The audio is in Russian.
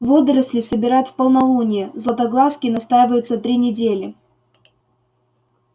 водоросли собирают в полнолуние златоглазки настаиваются три недели